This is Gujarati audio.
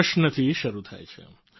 પ્રશ્નથી શરૂ થાય છે